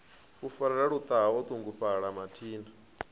farelela luṱaha o ṱungufhala mathina